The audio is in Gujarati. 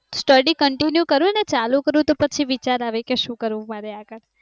study continue કરુંને ચાલુ કરું તો વિચાર આવે કે શું કરવું મારે આગળ